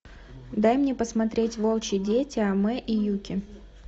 дай мне посмотреть волчьи дети амэ и юки